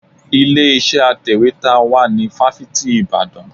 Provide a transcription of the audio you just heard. Ilé iṣẹ́ atẹ̀wétà wà ní fáfitì Ìbàdàn.